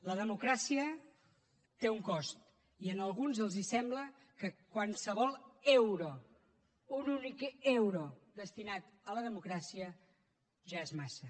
la democràcia té un cost i a alguns els sembla que qualsevol euro un únic euro destinat a la democràcia ja és massa